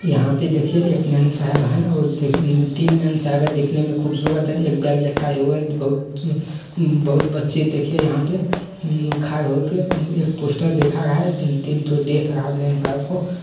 यहाँ पे देखिये एक मेमसाब है और देखे उम् तीन मेमसाब है देखने में खूबसूरत है एक बैग लटकाए हुए बहुत उम बहुत बच्चे देखिये यहाँ पे हुं लिखा एक ठो पुस्तक देख रहा है तीन ठो देख रहा है मेमसाब को।